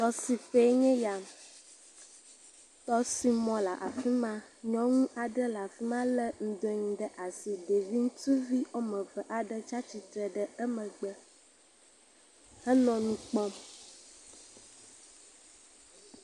Tɔsiƒe nye ya, tɔsimɔ yea. Nyɔnu aɖe le afima le ŋdɔ nye ɖe asi. Ɖevi ŋutsuvi wòa me eve aɖe tsia tsitre ɖe emegbe henɔ nu kpɔm.